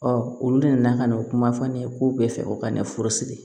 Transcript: olu nana ka n'o kuma fɔ ne ye ko bɛɛ fɛ u ka ne furusiri